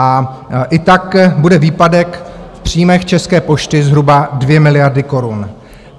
A i tak bude výpadek v příjmech České pošty zhruba 2 miliardy korun.